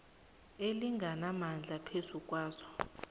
elinganamandla phezu kwazo